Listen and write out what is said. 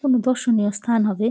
কোনো দর্শনীয় স্থান হবে ।